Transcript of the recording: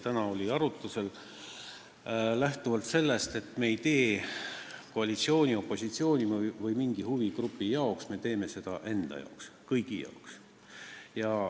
Täna oli see arutlusel lähtuvalt sellest, et me ei tee seda koalitsiooni, opositsiooni või mingi huvigrupi jaoks, me teeme seda enda jaoks, kõigi jaoks.